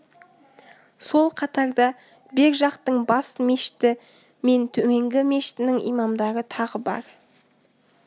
сол қатарда бер жақтың бас мешіті мен төменгі мешітінің имамдары тағы бар